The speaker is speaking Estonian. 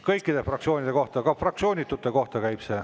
Kõikide fraktsioonide kohta, ka fraktsioonitute kohta käib see.